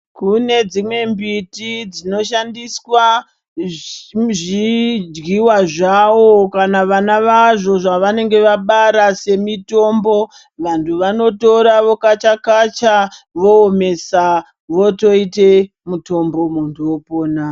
Kune dzimwe mbiti dzinoshandiswa muzvidyiwa zvavo kana vana vazvo zvavanenge vabara semitombo, vantu vanotora vokacha-kacha, voomesa, votiote mutombo muntu wopona.